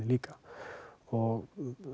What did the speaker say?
líka og